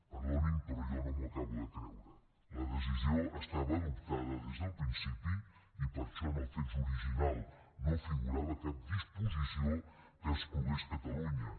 perdonin però jo no m’ho acabo de creure la decisió estava adoptada des del principi i per això en el text original no figurava cap disposició que exclogués catalunya